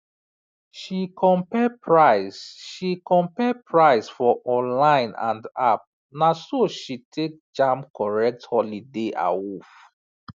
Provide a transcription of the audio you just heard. she compare price she compare price for online and app naso she take jam correct holiday awoof